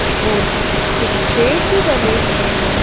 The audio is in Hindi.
और कुछ सेब भी डले हुए हैं।